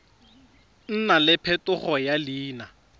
nna le phetogo ya leina